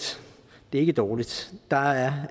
det er ikke dårligt der er